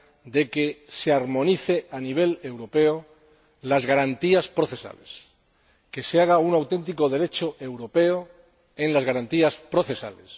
de que se armonicen a nivel europeo las garantías procesales, que se elabore un auténtico Derecho europeo en las garantías procesales.